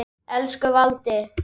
Elsku Valdi.